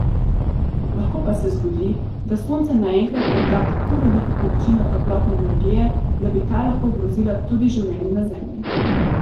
Lahko pa se zgodi, da Sonce naenkrat odda tako veliko količino toplotne energije, da bi ta lahko ogrozila tudi življenje na Zemlji.